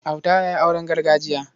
Auta ya yi auren gargajiya.